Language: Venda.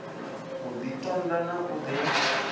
u ḓitonda na u ḓi